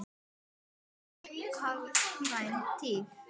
Þá var hagkvæm tíð.